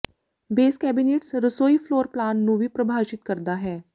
base cabinets ਰਸੋਈ floor plan ਨੂੰ ਵੀ ਪਰਿਭਾਸ਼ਿਤ ਕਰਦਾ ਹੈ